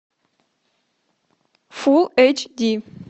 фулл эйч ди